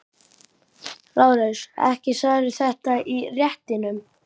LÁRUS: Ekki sagðirðu þetta í réttinum.